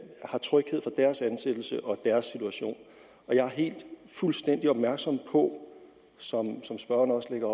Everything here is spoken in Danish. har tryghed for deres ansættelse og deres situation og jeg er fuldstændig opmærksom på som spørgeren også lægger